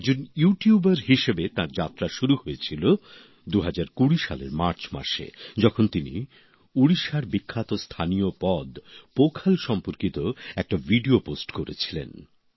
একজন YouTuber হিসেবে তার যাত্রা শুরু হয়েছিল ২০২০ সালের মার্চ মাসে যখন তিনি উড়িষ্যার বিখ্যাত স্থানীয় পদ পখাল সম্পর্কিত একটা ভিডিও পোস্ট করেছিলেন